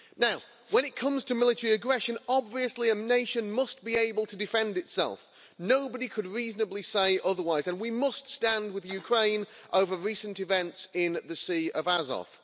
Now when it comes to military aggression, obviously a nation must be able to defend itself, nobody could reasonably say otherwise, and we must stand with Ukraine over recent events in the Sea of Azov.